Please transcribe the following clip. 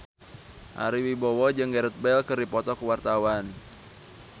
Ari Wibowo jeung Gareth Bale keur dipoto ku wartawan